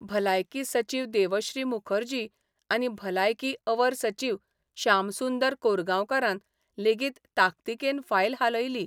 भलायकी सचीव देवश्री मुखर्जी आनी भलायकी अवर सचीव शामसुंदर कोरगांवकारान लेगीत ताकतिकेन फायल हालयली.